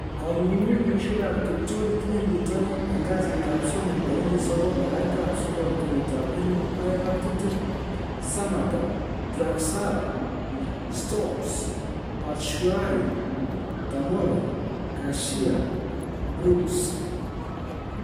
Kong'ung'unyosiek ab kiptulit en bitonin en kasitab somok tarigit 09/09/2020: Sammatta, Draxler, Stones, Batshuayi, Tomori, Garcia, Brooks